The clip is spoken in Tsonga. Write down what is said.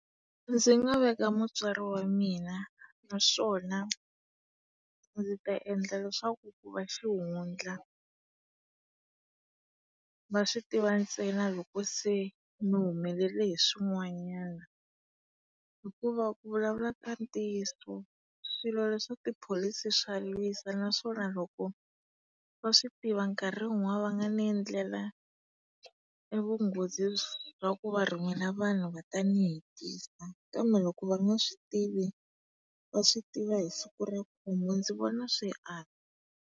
Ndzi nga veka mutswari wa mina naswona ndzi ta endla leswaku ku va xihundla. Va swi tiva ntsena loko se ni humelele hi swin'wanyana yo hikuva ku vulavula ka ntiyiso swilo leswa tipholisi swa lwisa naswona loko va swi tiva nkarhi wun'wana va nga ni endlela e vunghozi bya ku va rhumela vanhu va ta ni hetisa. Kambe loko va nga swi tivi va swi tiva hi siku ra ku huma, ndzi vona swi antswa.